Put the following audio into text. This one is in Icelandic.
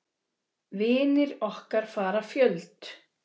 Vinir okkar fara fjöld.